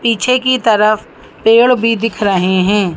पीछे की तरफ पेड़ भी दिख रहे है।